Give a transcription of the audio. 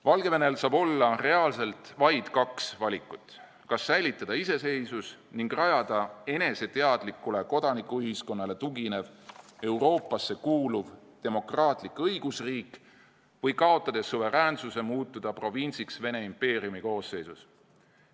Valgevenel saab olla reaalselt vaid kaks valikut: kas säilitada iseseisvus ning rajada eneseteadlikule kodanikuühiskonnale tuginev, Euroopasse kuuluv demokraatlik õigusriik või kaotades suveräänsuse, muutuda provintsiks Vene impeeriumi koosseisus.